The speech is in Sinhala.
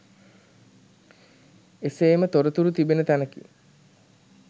එසේම තොරතුරු තිබෙන තැනකි.